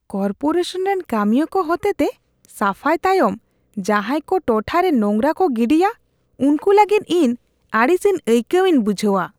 Corporation ᱨᱮᱱ ᱠᱟᱹᱢᱤᱭᱟᱹ ᱠᱚ ᱦᱚᱛᱮᱛᱮ ᱥᱟᱯᱷᱟᱭ ᱛᱟᱭᱚᱢ ᱡᱟᱦᱟᱭ ᱠᱚ ᱴᱚᱴᱷᱟᱨᱮ ᱱᱚᱸᱜᱨᱟ ᱠᱚ ᱜᱤᱰᱤᱭᱟ ᱩᱝᱠᱩ ᱞᱟᱹᱜᱤᱫ ᱤᱧ ᱟᱹᱲᱤᱥᱤᱧ ᱟᱹᱭᱠᱟᱹᱣᱤᱧ ᱵᱩᱡᱷᱟᱹᱣᱟ ᱾